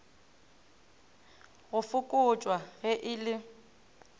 go fokotšwa ge e le